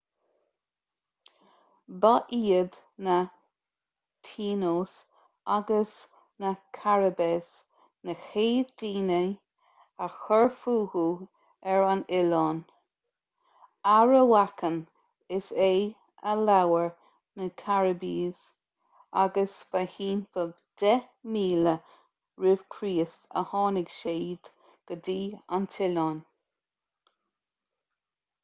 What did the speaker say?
ba iad na taínos agus na caribes na chéad daoine a chuir fúthu ar an oileán arawakan is ea a labhair na caribes agus ba timpeall 10,000 r.ch a tháinig siad go dtí an t-oileán